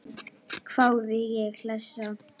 hváði ég hlessa.